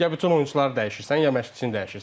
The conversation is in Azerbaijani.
Ya bütün oyunçuları dəyişirsən, ya məşqçini dəyişirsən.